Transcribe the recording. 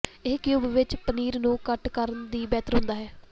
ਇਹ ਕਿਊਬ ਵਿੱਚ ਪਨੀਰ ਨੂੰ ਕੱਟ ਕਰਨ ਦੀ ਬਿਹਤਰ ਹੁੰਦਾ ਹੈ